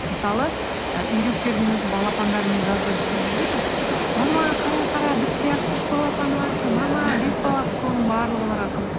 мысалы і үйректердің өзі балапандарымен жазда жүгіріп жүреді мама қара қара біз сияқты үш балапаны бар екен мама бес бала соның барлығы оларға қызық